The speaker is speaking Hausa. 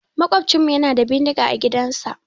Maƙwabcinmu yana da bindiga a gidansa.